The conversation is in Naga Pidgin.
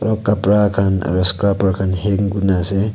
aru kapara khan aru scrub khan hang kori na ase.